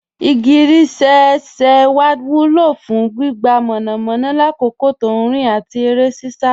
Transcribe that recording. Igigirísẹ̀ ẹ̀ṣẹ́ wa wúlọ̀ fún gbígbà mọ́namọ́na làkòkò tó nrin àti ere sisa